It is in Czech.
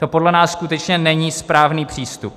To podle nás skutečně není správný přístup.